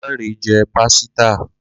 Lanre jẹ́ pásítà